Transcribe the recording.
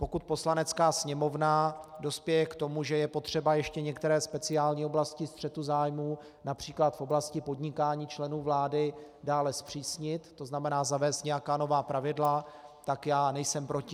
Pokud Poslanecká sněmovna dospěje k tomu, že je potřeba ještě některé speciální oblasti střetu zájmů například v oblasti podnikání členů vlády dále zpřísnit, to znamená zavést nějaká nová pravidla, tak já nejsem proti.